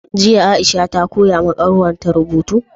Jiya aisha ta koyawa kanwarta rubutu?